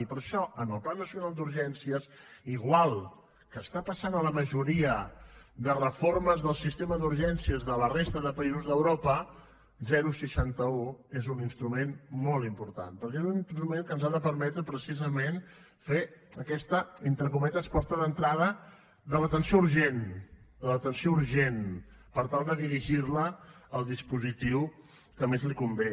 i per això en el pla nacional d’urgències igual que està passant a la majoria de reformes del sistema d’urgències de la resta de països d’europa seixanta un és un instrument molt important perquè és un instrument que ens ha de permetre precisament fer aquesta entre cometes porta d’entrada de l’atenció urgent de l’atenció urgent per tal de dirigir la al dispositiu que més li convé